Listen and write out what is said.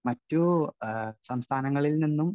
Speaker 1 മറ്റു സംസ്ഥാനങ്ങളിൽനിന്നും.